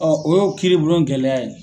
o y'o kiribulon gɛlɛya ye.